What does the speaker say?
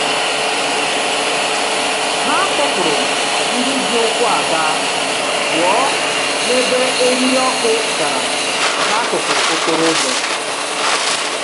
Ha kpọpụrụ ndị ji ụkwụ aga pụọ n'ebe eriri ọkụ dara n'akụkụ okporoụzọ.